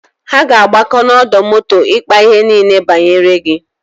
Ha ga-agbakọ n'ọdọ moto ịkpa ihe niile banyere gi.